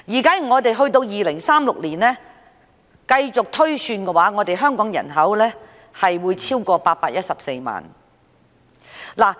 到了2036年，推算香港人口將會超過814萬。